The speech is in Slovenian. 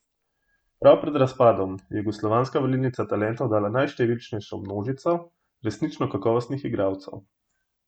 Prav pred razpadom je jugoslovanska valilnica talentov dala najštevilnejšo množico resnično kakovostnih igralcev.